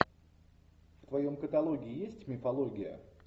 в твоем каталоге есть мифология